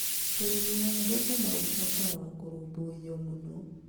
Ũrĩmi wa thũkũma ũbataraga kũrũmbũiyo mũno.